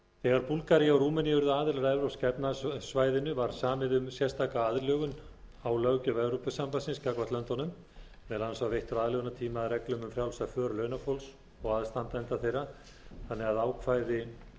þegar búlgaría og rúmenía urðu aðilar að evrópska efnahagssvæðinu var samið um sérstaka aðlögun á löggjöf evrópusambandsins gagnvart löndunum meðal annars var veittur aðlögunartími að reglum um frjálsa för launafólks og aðstandenda þeirra þannig að ákvæði